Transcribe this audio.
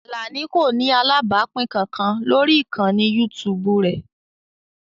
Alani kò ní alábàápín kankan lórí ìkànnì YouTube rẹ̀